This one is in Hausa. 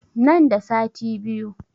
Nan da sati biyu